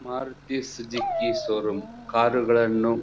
Maruti Suzuki showroom ಕಾರುಗಳನ್ನು --